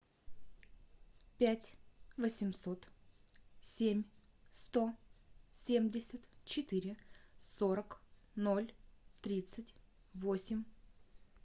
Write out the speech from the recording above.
пять восемьсот семь сто семьдесят четыре сорок ноль тридцать восемь